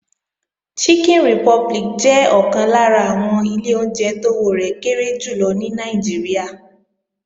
Chicken Republic jẹ́ ọ̀kan lára àwọn ilé oúnjẹ tówó rẹ̀ kéré jù lọ ní Nàìjíríà